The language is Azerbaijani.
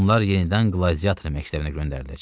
Onlar yenidən qladiator məktəbinə göndəriləcək.